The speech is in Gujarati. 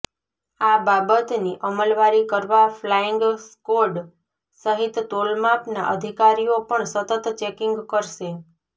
આ બાબતની અમલવારી કરવા ફ્લાઈંગ સ્કોડ સહિત તોલમાપના અધિકારીઓ પણ સતત ચેકીંગ કરશે